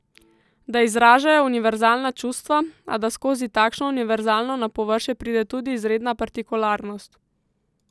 Da izražajo univerzalna čustva, a da skozi takšno univerzalno na površje pride tudi izredna partikularnost.